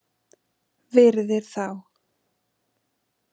Virðir þá.